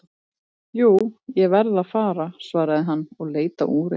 Jú, ég verð að fara svaraði hann og leit á úrið.